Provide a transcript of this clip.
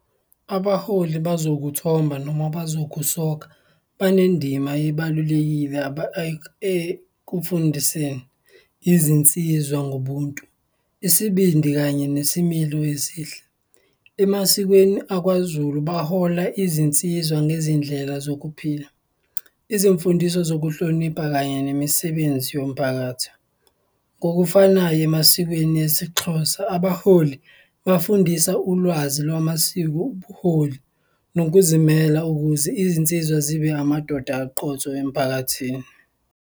Abaholi bazokuthomba noma bazokusoka, banendima ebalulekile ekufundiseni izinsizwa ngobuntu, isibindi kanye nesimilo esihle. Emasikweni akwaZulu, bahola izinsizwa ngezindlela zokuphila, izimfundiso zokuhlonipha kanye nemisebenzi yomphakathi. Ngokufanayo emasikweni esiXhosa, abaholi bafundisa ulwazi lwamasiko, ubuholi nokuzimela ukuze izinsizwa zibe amadoda aqotho emphakathini.